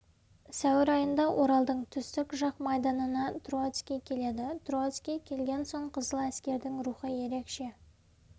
сәуір айында оралдың түстік жақ майданына троцкий келеді троцкий келген соң қызыл әскердің рухы ерекше